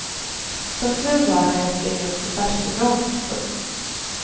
Som tur var hann jag springa upp på farstubron. punkt